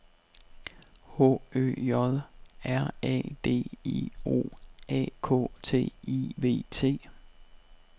H Ø J R A D I O A K T I V T